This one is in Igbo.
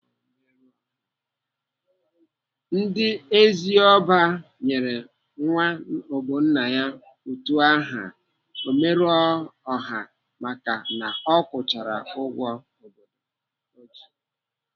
Ndị Eziabo nyere nwa Ogbonna utu aha Omerọọha maka na ọ kwụchara ụgwọ obodo ji.